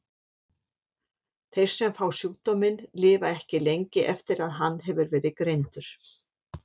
Þeir sem fá sjúkdóminn lifa ekki lengi eftir að hann hefur verið greindur.